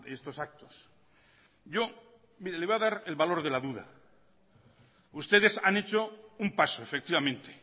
estos actos yo mire le voy a dar el valor de la duda ustedes han hecho un paso efectivamente